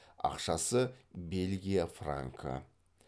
ақшасы бельгия франкі